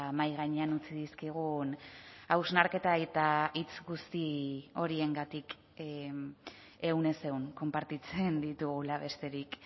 mahai gainean utzi dizkigun hausnarketa eta hitz guzti horiengatik ehunez ehun konpartitzen ditugula besterik